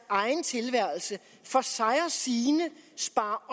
egen tilværelse for sig og sine sparer